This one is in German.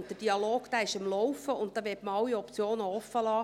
Und der Dialog ist am Laufen, und da möchte man alle Optionen offenlassen.